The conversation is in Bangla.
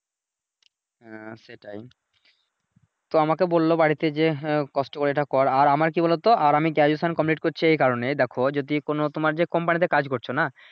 হ্যাঁ সেটাই তো আমাকে বললো বাড়িতে যে হ্যাঁ কষ্ট করে এইটা কর, আর আমার কি বলোতো আর আমি Graduation কমপ্লিট করছি এই কারনে দেখো যদি কোন তোমার যে কোম্পানিতে কাজ করছো নাহ।